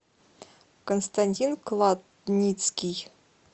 константин кладницкий